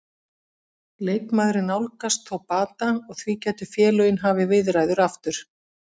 Leikmaðurinn nálgast þó bata og því gætu félögin hafið viðræður aftur.